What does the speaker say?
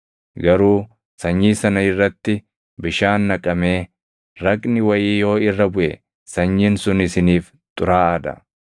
Garuu sanyii sana irratti bishaan naqamee raqni wayii yoo irra buʼe sanyiin sun isiniif xuraaʼaa dha.